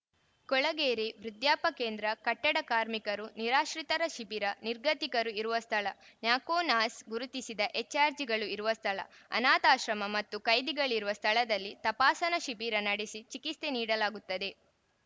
ಕೊಳಗೇರಿ ವೃದ್ಧಾಪ ಕೇಂದ್ರ ಕಟ್ಟಡ ಕಾರ್ಮಿಕರು ನಿರಾಶ್ರಿತರ ಶಿಬಿರ ನಿರ್ಗತಿಕರು ಇರುವ ಸ್ಥಳ ನ್ಯಾಕೋ ನಾಸ್ ಗುರುತಿಸಿದ ಎಚ್‌ಆರ್‌ಜಿಗಳು ಇರುವ ಸ್ಥಳ ಅನಾಥಾಶ್ರಮ ಮತ್ತು ಕೈದಿಗಳಿರುವ ಸ್ಥಳದಲ್ಲಿ ತಪಾಸಣಾ ಶಿಬಿರ ನಡಸಿ ಚಿಕಿತ್ಸೆ ನೀಡಲಾಗುತ್ತದೆ